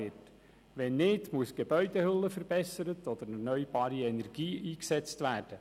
Falls nicht, muss die Gebäudehülle verbessert oder erneuerbare Energie eingesetzt werden.